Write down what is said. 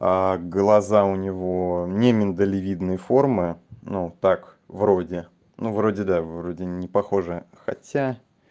а глаза у него не миндалевидной формы ну так вроде ну вроде да вроде не похоже хотя